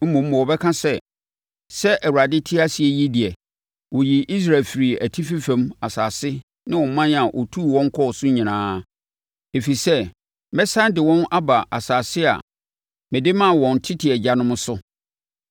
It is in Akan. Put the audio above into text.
mmom wɔbɛka sɛ, ‘Sɛ Awurade te ase yi deɛ ɔyii Israelfoɔ firii atifi fam asase ne aman a ɔtuu wɔn kɔɔ so nyinaa.’ Ɛfiri sɛ mɛsane de wɔn aba asase a mede maa wɔn tete agyanom no so.